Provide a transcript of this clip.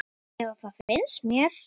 Eða það finnst mér.